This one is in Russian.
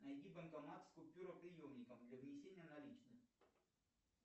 найди банкомат с купюроприемником для внесения наличных